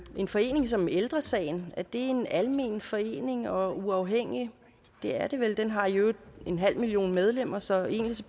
en forening som ældre sagen er det en almen forening og uafhængig det er det vel den har i øvrigt en halv million medlemmer så egentlig